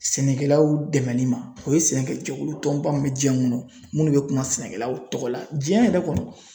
Sɛnɛkɛlaw dɛmɛli ma o ye sɛnɛkɛ jɛkulu tɔnba min bɛ jiyɛn kɔnɔ minnu bɛ kuma sɛnɛkɛlaw tɔgɔ la jiyɛn yɛrɛ kɔnɔ.